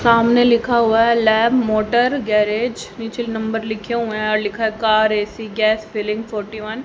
सामने लिखा हुआ है लैब मोटर गैरेज पिक्चर नीचे नंबर लिखे हुए और लिखा है car AC gas filling forty one